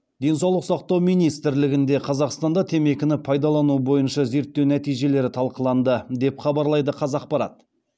денсаулық сақтау министрлігінде қазақстанда темекіні пайдалану бойынша зерттеу нәтижелері талқыланды деп хабарлайды қазақпарат